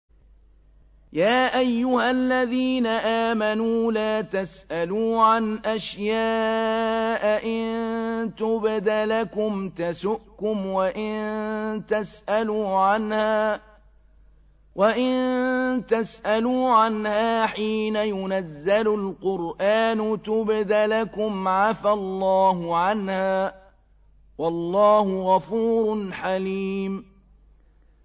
يَا أَيُّهَا الَّذِينَ آمَنُوا لَا تَسْأَلُوا عَنْ أَشْيَاءَ إِن تُبْدَ لَكُمْ تَسُؤْكُمْ وَإِن تَسْأَلُوا عَنْهَا حِينَ يُنَزَّلُ الْقُرْآنُ تُبْدَ لَكُمْ عَفَا اللَّهُ عَنْهَا ۗ وَاللَّهُ غَفُورٌ حَلِيمٌ